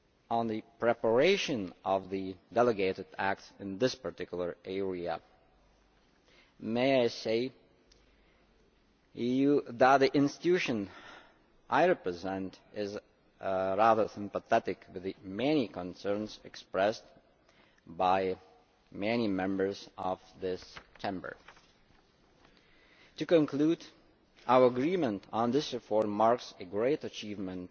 On the preparation of the delegated acts in this particular area, may I say that the institution I represent is sympathetic to the many concerns expressed by many members of this Chamber. The conclusion of our agreement on this reform marks a great achievement